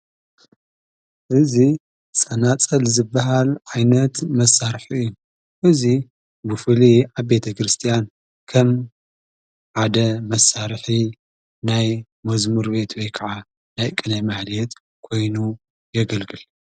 እዙይ ጸናጸል ዝበሃል ዓይነት መሣርሒ እዩ እዙይ ብፉሊ ኣቤተ ክርስቲያን ከም ዓደ መሳርሒ ናይ መዝሙር ቤት ወይ ከዓ ናይ ቀናይ መዓልየት ኮይኑ የገልግል እዩ።